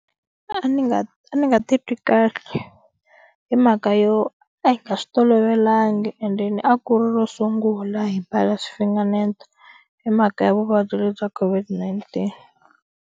A ni nga a ni nga titwi kahle hi mhaka yo a hi nga swi tolovelangi endeni a ku ri ro sungula hi mbala sWi-Finganeto hi mhaka ya vuvabyi lebyi COVID-19.